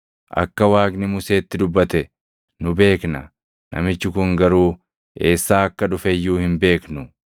Akka Waaqni Museetti dubbate nu beekna; namichi kun garuu eessaa akka dhufe iyyuu hin beeknu.”